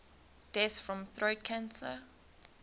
deaths from throat cancer